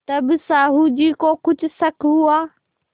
तब साहु जी को कुछ शक हुआ